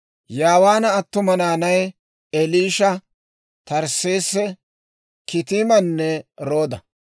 Yaawaana attuma naanay: Eliisha, Tarsseese, Kitiimanne Rooda.